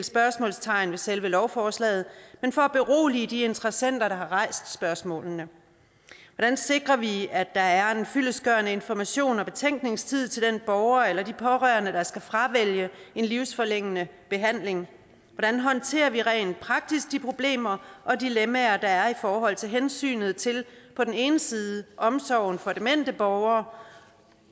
spørgsmålstegn ved selve lovforslaget men for at berolige de interessenter der har rejst spørgsmålene hvordan sikrer vi at der er en fyldestgørende information og betænkningstid til den borger eller de pårørende der skal fravælge en livsforlængende behandling hvordan håndterer vi rent praktisk de problemer og dilemmaer der er i forhold til hensynet til på den ene side omsorgen for demente borgere